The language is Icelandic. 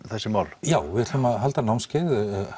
þessi mál já við ætlum að halda námskeið